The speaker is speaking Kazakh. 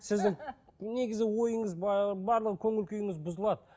сіздің негізі ойыңыз барлық көңіл күйіңіз бұзылады